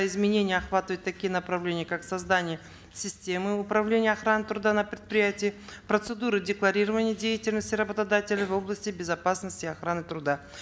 изменения охватывают такие направления как создание системы управления и охраны труда на предприятии процедуры декларирования деятельности работодателя в области безопасности и охраны труда